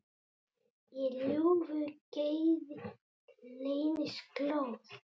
Í ljúfu geði leynist glóð.